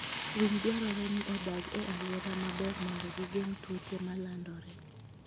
Winy dwarore ni odag e alwora maler mondo gigeng' tuoche ma landore.